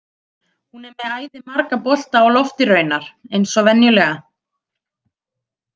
Hún er með æði marga bolta á lofti raunar, eins og venjulega.